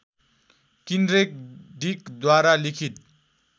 किन्ड्रेक डिकद्वारा लिखित